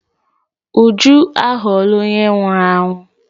Uju aghọọla onye nwụrụ anwụ.